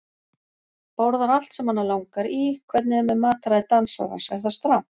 Borðar allt sem hana langar í Hvernig er með mataræði dansarans, er það strangt?